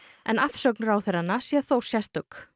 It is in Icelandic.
en afsögn ráðherranna sé þó sérstök